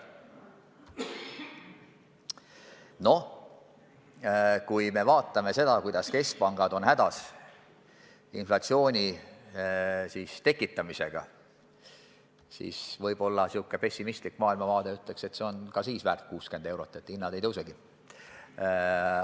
No kui vaatame seda, kuidas keskpangad on hädas inflatsiooni tekitamisega, siis võib-olla sellisest pessimistlikust maailmavaatest lähtudes ütleksin, et see on ka siis väärt 60 eurot, sest hinnad ei tõusegi.